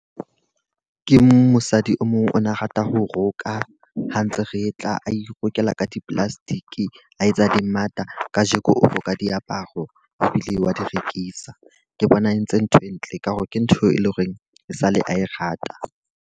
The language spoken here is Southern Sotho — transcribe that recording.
Ke mosadi o mong o na rata ho roka, ha ntse re tla. A irokela ka di-plastic, a etsa dimmata. Ka jeko o roka diaparo ebile wa di rekisa. Ke bona a entse ntho e ntle ka hore ke ntho eo e leng hore e sale a e rata.